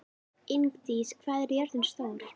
Ingdís, hvað er jörðin stór?